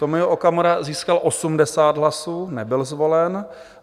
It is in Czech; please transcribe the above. Tomio Okamura získal 80 hlasů, nebyl zvolen.